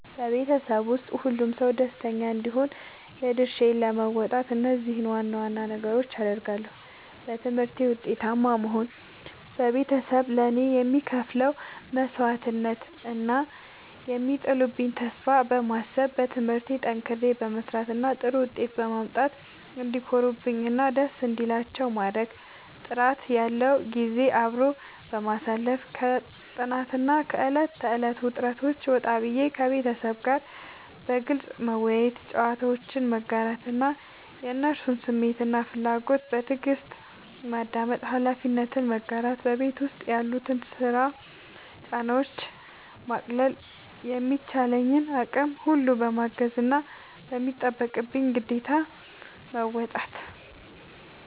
በቤተሰቤ ውስጥ ሁሉም ሰው ደስተኛ እንዲሆን የድርሻዬን ለመወጣት እነዚህን ዋና ዋና ነገሮች አደርጋለሁ፦ በትምህርቴ ውጤታማ መሆን፦ ቤተሰቤ ለእኔ የሚከፍሉትን መስዋዕትነት እና የሚጥሉብኝን ተስፋ በማሰብ፣ በትምህርቴ ጠንክሬ በመስራት እና ጥሩ ውጤት በማምጣት እንዲኮሩብኝ እና ደስ እንዲላቸው ማድረግ። ጥራት ያለው ጊዜ አብሮ ማሳለፍ፦ ከጥናትና ከዕለት ተዕለት ውጥረት ወጣ ብዬ፣ ከቤተሰቤ ጋር በግልጽ መወያየት፣ ጨዋታዎችን መጋራት እና የእነሱን ስሜትና ፍላጎት በትዕግስት ማዳመጥ። ኃላፊነትን መጋራት፦ በቤት ውስጥ ያሉትን የስራ ጫናዎች ለማቃለል በሚቻለኝ አቅም ሁሉ ማገዝና የሚጠበቅብኝን ግዴታ መወጣት።